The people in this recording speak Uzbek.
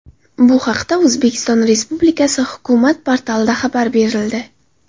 Bu haqda O‘zbekiston Respublikasi hukumat portalida xabar berildi .